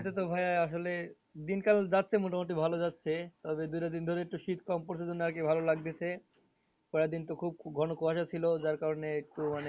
মধ্যে তো ভাইয়া আসলে দিনকাল যাচ্ছে মোটামুটি ভালো যাচ্ছে এই দুইটা দিন ধরে একটু শীত কম পড়ছে জন্য আরকি ভালো লাগতেছে কয়েকদিন তো খুব ঘন কুয়াশা ছিল যার কারণে একটু মানে